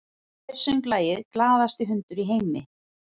Hver söng lagið “Glaðasti hundur í heimi”?